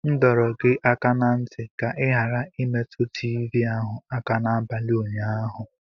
M dọrọ gị aka ná ntị ka ị ghara imetụ tivii ahụ aka n'abalị ụnyaahụ.